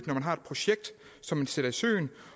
når man har et projekt som man sætter i søen